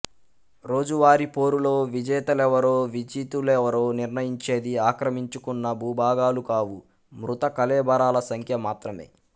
రోజువారీ పోరులో విజేతలెవరో విజితులెవరో నిర్ణయించేది ఆక్రమించుకున్న భూభాగాలు కావు మృత కళేబరాల సంఖ్య మాత్రమే